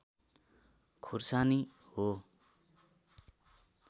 खुर्सानी हो